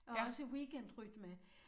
Og også weekendrytme